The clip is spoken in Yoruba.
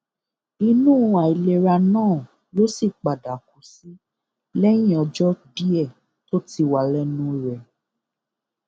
inú àìlera náà ló sì padà kú sí lẹyìn ọjọ díẹ tó ti wà lẹnu rẹ